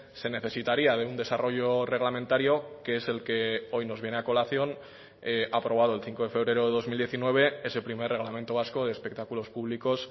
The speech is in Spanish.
se necesitaría de un desarrollo reglamentario que es el que hoy nos viene a colación aprobado el cinco de febrero de dos mil diecinueve ese primer reglamento vasco de espectáculos públicos